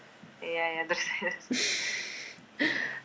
иә иә дұрыс